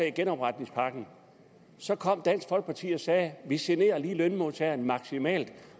i genopretningspakken så kom dansk folkeparti og sagde vi generer lige lønmodtagerne maksimalt